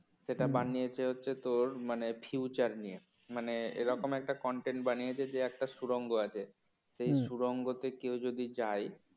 সেটা বানিয়েছে হচ্ছে তোর মানে future নিয়ে মানে এরকম একটা content বানিয়েছে যে একটা সুরঙ্গ আছে। সেই সুরঙ্গ তে কেউ যদি যায়